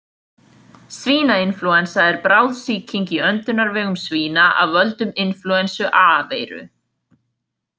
Svínainflúensa er bráð sýking í öndunarvegum svína af völdum inflúensu A-veiru.